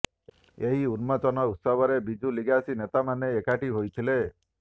ଏହି ଉନ୍ମୋଚନ ଉତ୍ସବରେ ବିଜୁ ଲିଗାସୀ ନେତାମାନେ ଏକାଠି ହୋଇଥିଲେ